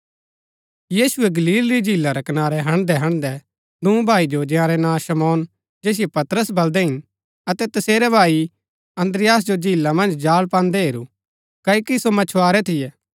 यीशुऐ गलील री झीला रै कनारै हन्डदैहन्डदै दूँ भाई जो जंयारै नां शमौन जैसिओ पतरस बलदै हिन अतै तसेरै भाई अन्द्रियास जो झीला मन्ज जाल पान्दै हेरू क्ओकि सो मच्छुआरै थियै